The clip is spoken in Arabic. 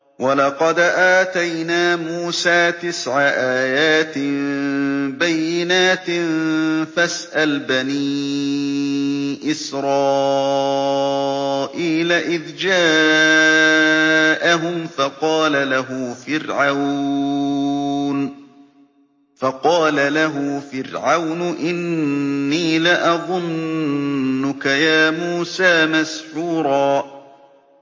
وَلَقَدْ آتَيْنَا مُوسَىٰ تِسْعَ آيَاتٍ بَيِّنَاتٍ ۖ فَاسْأَلْ بَنِي إِسْرَائِيلَ إِذْ جَاءَهُمْ فَقَالَ لَهُ فِرْعَوْنُ إِنِّي لَأَظُنُّكَ يَا مُوسَىٰ مَسْحُورًا